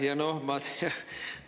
Aitäh!